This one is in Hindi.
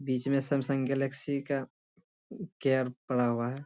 बीच में सैमसंग गैलेक्सी का केयर पड़ा हुआ है।